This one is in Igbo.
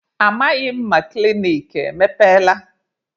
Amaghị m ma klinik emepeela.